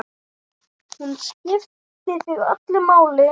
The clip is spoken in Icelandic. Hún skipti þig öllu máli.